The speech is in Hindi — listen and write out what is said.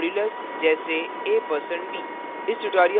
% modulus: जैसे a% b